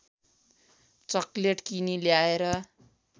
chocolate किनी ल्याएर